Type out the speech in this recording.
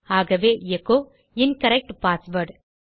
ஆகவே எச்சோ incorrect password